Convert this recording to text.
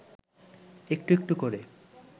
একটু একটু করে